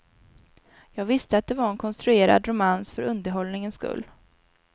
Jag visste att det var en konstruerad romans för underhållningens skull.